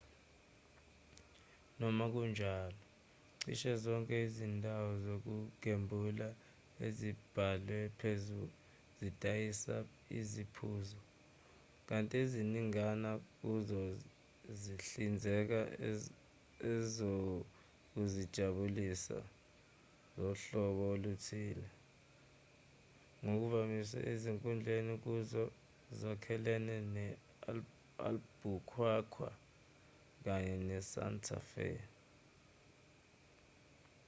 noma kunjalo cishe zonke izindawo zokugembula ezibhalwe phezulu zidayisa iziphuzo kanti eziningana kuzo zihlinzeka ezokuzijabulisa zohlobo oluthile ngokuvamile ezinkulu kuzo ezakhelene ne-albuquerque kanye ne-santa fe